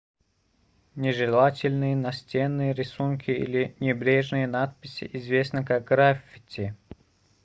нежелательные настенные рисунки или небрежные надписи известны как граффити